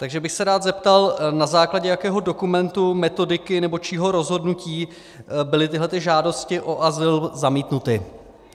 Takže bych se rád zeptal, na základě jakého dokumentu, metodiky nebo čího rozhodnutí byly tyto žádosti o azyl zamítnuty.